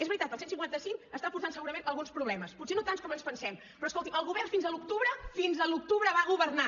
és veritat el cent i cinquanta cinc està portant segurament alguns problemes potser no tants com ens pensem però escolti el govern fins a l’octubre fins a l’octubre va governar